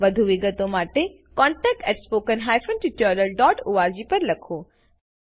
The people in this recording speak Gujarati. વધુ વિગતો માટે contactspoken tutorialorg પર લખો